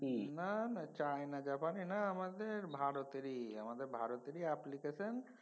না না চায়না জাপানের না আমাদের ভারতেরই। আমাদের ভারতেরই application